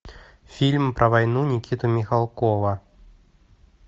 фильм про войну никиты михалкова